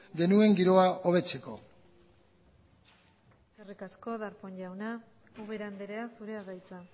genuen giroa hobetzeko eskerrik asko darpón jauna ubera andrea zurea da hitza